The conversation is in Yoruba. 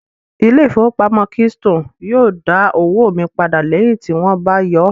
Ilé ìfowópamọ́ keystone yóò dá owó mi padà lẹ́yìn tí wón bá yọọ́